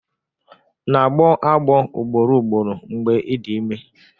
na-agbọ agbọ ugboro ugboro mgbe ị dị ime?